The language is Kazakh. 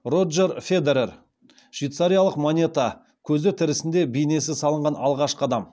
роджер федерер швейцариялық монета көзі тірісінде бейнесі салынған алғашқы адам